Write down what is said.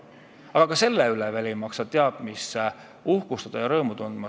Aga ei maksa veel sellega teab mis uhkustada ega rõõmu tunda.